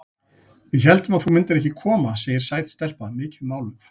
Við héldum að þú myndir ekki koma, segir sæt stelpa, mikið máluð.